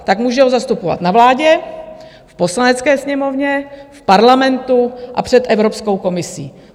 Tak může ho zastupovat na vládě, v Poslanecké sněmovně, v Parlamentu a před Evropskou komisí.